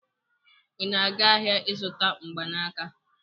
Ị na-aga ahịa ịzụta mgbanaka?